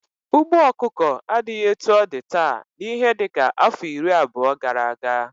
Ugbo ọkụkọ adighi etu ọ di taa na ihe dika afọ iri abuo gara aga.